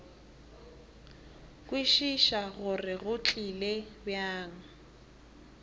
kwešiša gore go tlile bjang